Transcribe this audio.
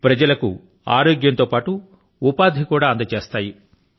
ప్రజల కు ఆరోగ్యం తో పాటు ఉపాధి ని కూడా అందజేస్తాయి